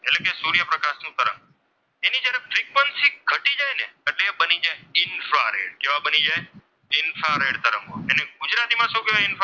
એ બની જાય ઇન્ફ્રારેડ કેવા બની જાય ઇન્ફ્રારેડ તરંગો તેને ગુજરાતીમાં શું કહેવાય? ઇન્ફ્રારેડ,